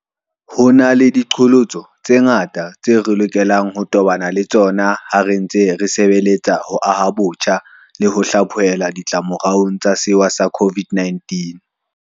Ho na le diqholotso tse ngata tseo re lokelang ho tobana le tsona ha re ntse re sebeletsa ho aha botjha le ho hlaphohelwa ditlamoraong tsa sewa sa COVID-19.